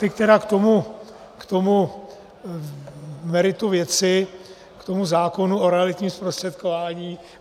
Teď tedy k tomu meritu věci, k tomu zákonu o realitním zprostředkování.